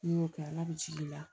N'i y'o kɛ ala bɛ jigi i la